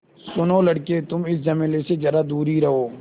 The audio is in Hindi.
सुनो लड़के तुम इस झमेले से ज़रा दूर ही रहो